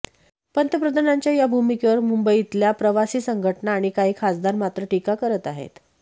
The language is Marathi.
पंतप्रधानांच्या या भूमिकेवर मुंबईतल्या प्रवासी संघटना आणि काही खासदार मात्र टीका करत आहेत